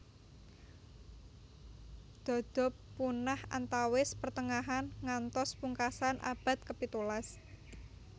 Dodo punah antawis pertengahan ngantos pungkasan abad ke pitulas